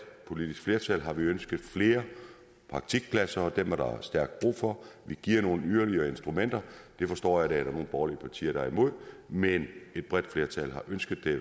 politisk flertal har vi ønsket flere praktikpladser og dem er der stærkt brug for vi giver nogle yderligere instrumenter det forstår jeg at der er nogle borgerlige partier der er imod men et bredt flertal har ønsket det